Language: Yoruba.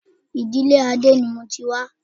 Ìdílé Adé ni mo ti wá